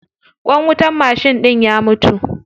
Ƙwan wutar mashin ɗin ya mutu.